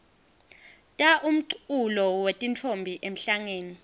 ta umculo wetintfombi emhlangeni